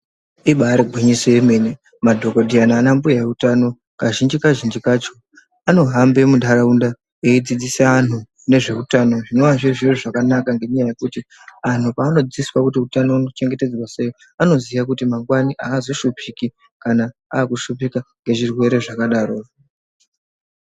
Ibaari gwinyiso remene, madhokodheya naana mbuya utano kazhinji-kazhinji kacho anohamba muntharaunda eidzidziswa anthu ngezve utano, zvinenge zviri zviro zvakanaka ngendaa yekuti anthu peanofundiswa kuti utano unongwarirwa sei anoziya kuti mangwani aazoshupiki kana agumirwa ngezvirwere zvakadarozvo.